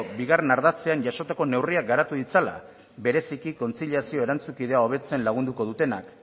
bigarren ardatzean jasotako neurriak garatu ditzala bereziki kontziliazio erantzunkidea hobetzen lagunduko dutenak